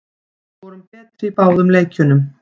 Við vorum betri í báðum leikjunum